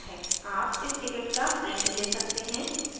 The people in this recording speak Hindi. आप इस ticket का print ले सकते हैं